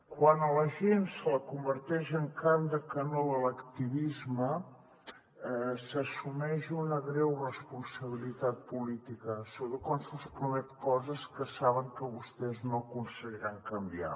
quan a la gent se la converteix en carn de canó de l’activisme s’assumeix una greu responsabilitat política sobretot quan se’ls prometen coses que saben que vostès no aconseguiran canviar